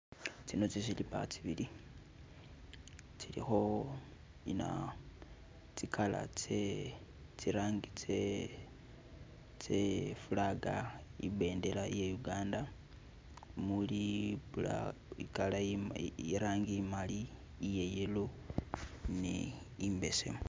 Tsino zi silipa tsibili zilikho inaa, tsi color tsee, tsilangi tsee iflaga, ibendela ya Uganda muli black, irangi imali, iye yellow ni imbesemu.